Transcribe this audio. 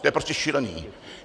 To je prostě šílené.